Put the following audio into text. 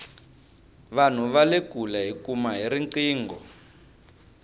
vanhu vale kule hiva kuma hi riqingho